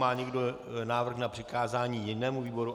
Má někdo návrh na přikázání jinému výboru?